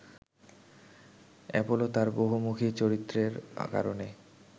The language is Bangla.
অ্যাপোলো তাঁর বহুমুখী চরিত্রের কারণে